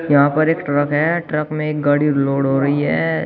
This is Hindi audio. यहां पर एक ट्रक है ट्रक में एक गाड़ी लोड हो रही है।